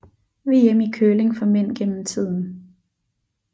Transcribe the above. VM i curling for mænd gennem tiden